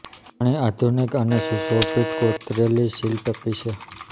ઘણી આધુનિક અને સુશોભિત કોતરેલી સીલ ટકી છે